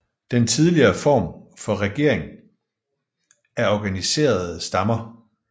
Den tidligere form for regering er organiserede stammer